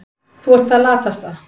Þú ert það latasta.